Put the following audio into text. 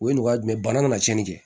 O ye nɔgɔya jumɛn ye bana kana cɛnni kɛ